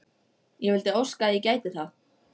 Ég vildi óska að ég gæti það.